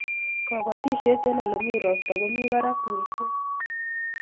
kabatishiet eng' ole mi ropta komi barak mising